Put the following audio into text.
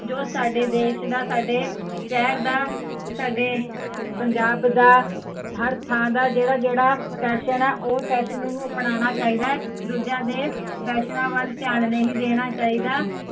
ਜੋ ਸਾਡੇ ਦੇਸ਼ ਦਾ ਸਾਡੇ ਸਹਿਰ ਦਾ, ਸਾਡੇ ਪੰਜਾਬ ਦਾ ਹਰ ਥਾਂ ਦਾ ਜਿਹੜਾ ਜਿਹੜਾ, ਫੈਸ਼ਨ ਐ, ਉਹ ਫੈਸ਼ਨ ਨੂੰ ਅਪਣਾਉਣਾ ਚਾਹੀਦਾ ਹੈ, ਦੂਜਿਆ ਦੇ ਫ਼ੈਸ਼ਨਾ ਵੱਲ ਧਿਆਨ ਨਹੀਂ ਦੇਣਾ ਚਾਹੀਦਾ